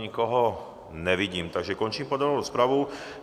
Nikoho nevidím, takže končím podrobnou rozpravu.